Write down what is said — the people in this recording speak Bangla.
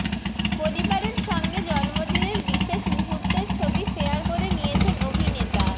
পরিবারের সঙ্গে জন্মদিনের বিশেষ মুহূর্তের ছবি শেয়ার করে নিয়েছেন অভিনেতা